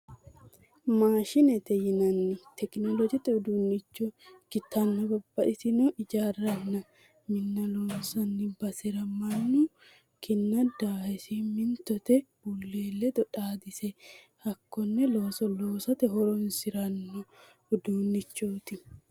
Mashinete yinanni tekinoloojete uduunnicho ikkitanna babbaxino ijaaranna minna loonsanni basera mannu kinna daahe simintote bulee ledo xaadise hakkonne looso loosate horoonsirano uduunnichooti.